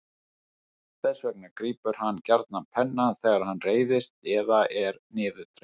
Þess vegna grípur hann gjarnan pennann þegar hann reiðist eða er niðurdreginn.